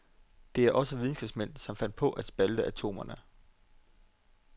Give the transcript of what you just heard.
Det er også videnskabsmænd, som fandt på at spalte atomerne.